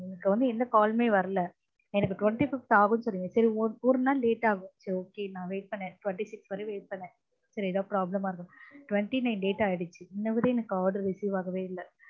எனக்கு வந்து எந்த call லுமே வரல எனக்கு twenty fifth ஆகும்னு சொன்னீங்க சரி ஒரு நாள் late ஆகும் சரி okay நான் wait பண்ணேன் twenty six வ wait பண்ணேன் சரி ஏதாவது problem இருக்கும் twenty nine date ஆகிடுச்சு இன்னவர எனக்கு card receive ஆகவெ இல்ல